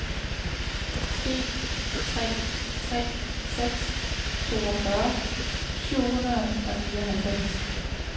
en tre tre seks toogfyrre syv hundrede og nioghalvfems